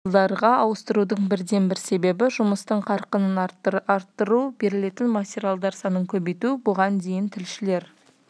тілшілерді облыстық филиалдарға ауыстырудың бірден-бір себебі жұмыстың қарқынын арттыру берілетін материалдар санын көбейту бұған дейін тілшілер